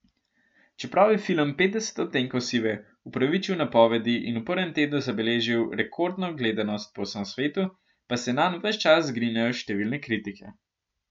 Čeprav je film Petdeset odtenkov sive upravičil napovedi in v prvem tednu zabeležil rekordno gledanost po vsem svetu, pa se nanj ves čas zgrinjajo številne kritike.